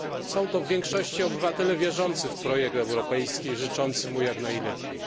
Są to w większości obywatele wierzący w projekt europejski i życzący mu jak najlepiej.